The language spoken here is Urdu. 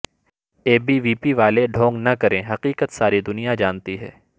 اے بی وی پی والے ڈھونگ نا کریں حقیقت ساری دنیا جانتی ہے